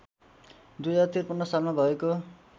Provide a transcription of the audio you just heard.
२०५३ सालमा भएको